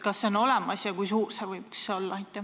Kas see võiks olemas olla ja kui suur see võiks olla?